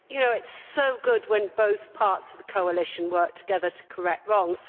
You know it is so good when both parts of the coalition work together to correct wrongs.